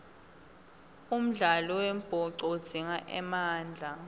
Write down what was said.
umdlalo wembhoco udzinga emandla